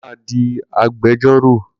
Kunle ma di Agbẹjọ́rò!